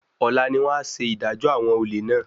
Ọ̀la ni wọ́n á ṣe ìdájọ́ àwọn olè náà.